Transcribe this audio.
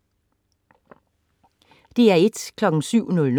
DR1: